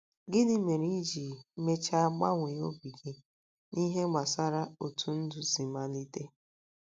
Gịnị mere i ji mechaa gbanwee obi gị n’ihe gbasara otú ndụ si malite?